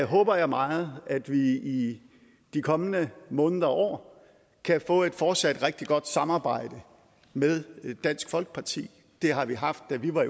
håber jeg meget at vi i de kommende måneder og år kan få et fortsat rigtig godt samarbejde med dansk folkeparti det har vi haft da vi var